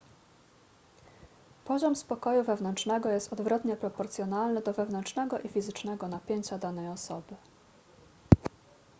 poziom spokoju wewnętrznego jest odwrotnie proporcjonalny do wewnętrznego i fizycznego napięcia danej osoby